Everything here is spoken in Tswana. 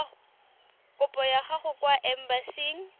kopo ya gago kwa embasing